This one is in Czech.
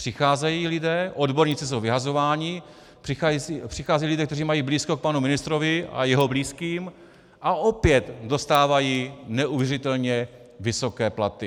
Přicházejí lidé, odborníci jsou vyhazováni, přicházejí lidé, kteří mají blízko k panu ministrovi a jeho blízkým a opět dostávají neuvěřitelně vysoké platy.